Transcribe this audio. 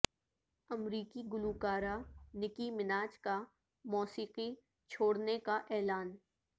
امریکی گلوکارہ Nicki Minaj کا مو سیقی چھوڑنے کا اعلان